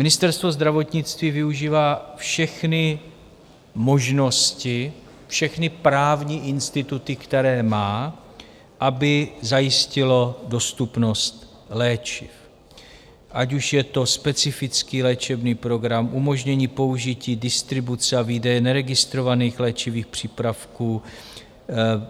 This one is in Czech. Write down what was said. Ministerstvo zdravotnictví využívá všechny možnosti, všechny právní instituty, které má, aby zajistilo dostupnost léčiv, ať už je to specifický léčebný program, umožnění použití distribuce a výdeje neregistrovaných léčivých přípravků,